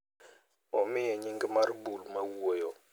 Omiye nying mar bul mawuoyo.